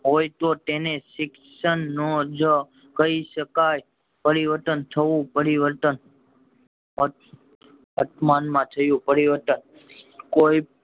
હોય તો તેને શિક્ષણ નો જ કય શકાય પરિવર્તન થવું પરિવર્તન પછ મન માં થયું પરિવર્તન